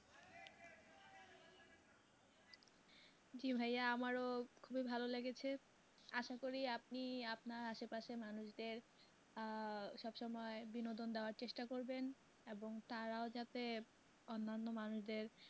জি ভাইয়া আমারও খুবই ভালো লেগেছে আসা করি আপনি আপনার আশে পাশের মানুষদের আহ সবসময় বিনোদন দেওয়ার চেষ্টা করবেন এবং তারাও যাতে অন্যান্য মানুষদের